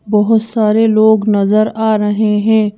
बहुत सारे लोग नजर आ रहे हैं।